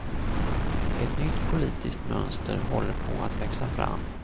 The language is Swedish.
Ett nytt politiskt mönster håller på att växa fram.